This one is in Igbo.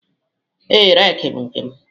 Ee, rake bụ nke m.